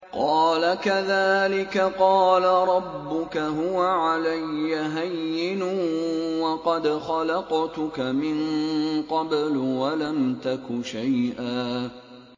قَالَ كَذَٰلِكَ قَالَ رَبُّكَ هُوَ عَلَيَّ هَيِّنٌ وَقَدْ خَلَقْتُكَ مِن قَبْلُ وَلَمْ تَكُ شَيْئًا